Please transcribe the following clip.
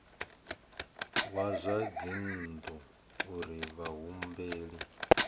wa zwa dzinnu uri vhahumbeli